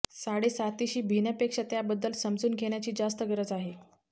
साडेसातीशी भिण्यापेक्षा त्याबद्दल समजून घेण्याची जास्त गरज आहे